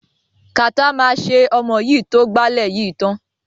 Kàtá máa ṣe ọmọ yìí tó gbálẹ̀ yìí tán.